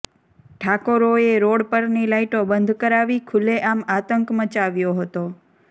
ઠાકોરોએ road પરની લાઈટો બંધ કરાવી ખુલ્લે આમ આતંક મચાવ્યો હતો